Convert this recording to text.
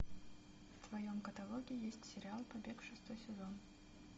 в твоем каталоге есть сериал побег шестой сезон